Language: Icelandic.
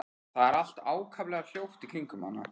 Það er allt ákaflega hljótt í kringum hana.